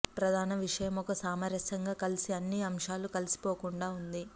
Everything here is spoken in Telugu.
ప్రధాన విషయం ఒక సామరస్యంగా కలిసి అన్ని అంశాలు కలిసిపోకుండా ఉంది